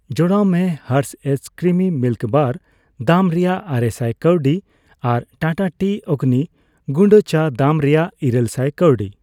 ᱡᱚᱲᱟᱣ ᱢᱮ Hershey's creamy milk bar ᱫᱟᱢ ᱨᱮᱭᱟᱜᱟᱨᱮᱥᱟᱭ ᱠᱟᱹᱣᱰᱤ ᱟᱨ ᱴᱟᱴᱟ ᱴᱤ ᱚᱜᱱᱤ ᱜᱩᱰᱟᱹ ᱪᱟ ᱫᱟᱢ ᱨᱮᱭᱟᱜ ᱤᱨᱟᱹᱞ ᱥᱟᱭ ᱠᱟᱹᱣᱰᱤ ᱾